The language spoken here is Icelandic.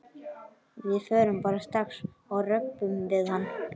Við förum bara strax og röbbum við hann.